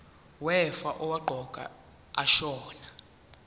wefa owaqokwa ashona